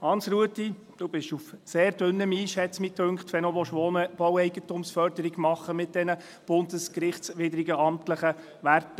Hans-Rudolf Saxer, du bist auf sehr dünnem Eis – dünkte es mich –, wenn du noch Wohneigentumsförderung machen willst mit diesen bundesgerichtswidrigen amtlichen Werten.